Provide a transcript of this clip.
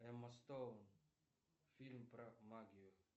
эмма стоун фильм про магию